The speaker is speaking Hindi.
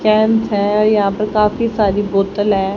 कैंप है यहां पर काफी सारी बोतल है।